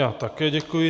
Já také děkuji.